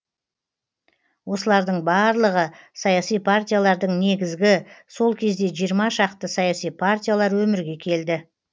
осылардың барлығы саяси партиялардың негізгі сол кезде жиырма шақты саяси партиялар өмірге келді